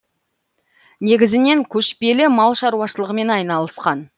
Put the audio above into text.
негізінен көшпелі мал шаруашылығымен айналысқан